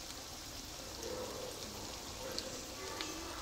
какой автор у анабасис кира